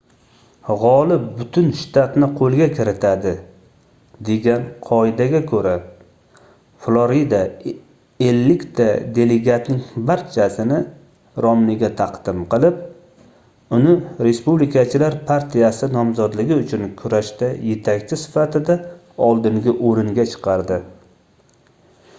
gʻolib butun shtatni qoʻlga kiritadi degan qoidaga koʻra florida ellikta delegatning barchasini romniga taqdim qilib uni respublikachilar partiyasi nomzodligi uchun kurashda yetakchi sifatida oldingi oʻringa chiqardi